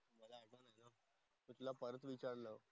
विचारलं.